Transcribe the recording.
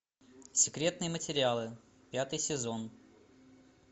секретные материалы пятый сезон